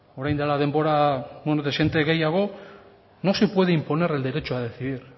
orain dela denbora dezente gehiago no se puede imponer el derecho a decidir